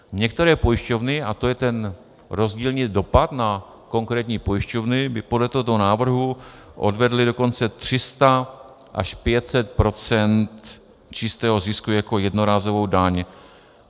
Některé pojišťovny, a to je ten rozdílný dopad na konkrétní pojišťovny, by podle tohoto návrhu odvedly dokonce 300 až 500 % čistého zisku jako jednorázovou daň.